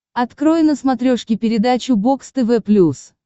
открой на смотрешке передачу бокс тв плюс